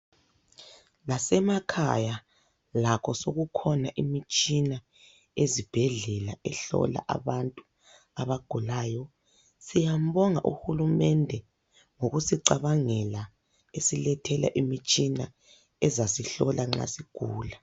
Lasemakhaya lakho soku khona imitshina ezibhedlela ehlola abantu abagulayo, siyambonga uhulumende ngokusicabangela esilethela imitshina ezasihlola nxa sigula.